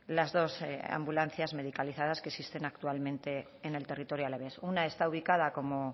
las dos ambulancias medicalizadas que existen actualmente en el territorio alavés una está ubicada como